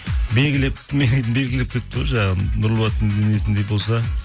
белгілеп белгілеп кетіпті ғой жаңағы нұрболаттың денесіндей болса